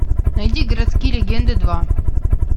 найди городские легенды два